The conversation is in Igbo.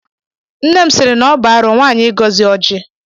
Nne m sịrị na-ọbu arụ nwaanyị ịgọzi ọjị.